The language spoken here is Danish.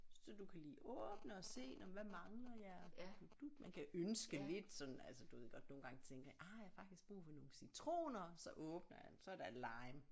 Så du kan lige åbne og se nåh men hvad mangler jeg man kan godt ønske lidt sådan altså du ved godt nogle gange tænke ah jeg har faktisk brug for nogle citroner så åbner jeg men så er der lime